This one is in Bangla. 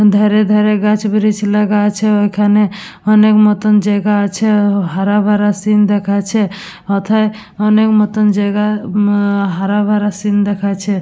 ধারে ধারে গাছ ব্রীচ লাগা আছে ওইখানে অনেক মত জায়গা আছে। হারাভারা সিন দেখাচ্ছে। অথায় অনেক মত জায়গা উম হারাভারা সিন দেখাইছে।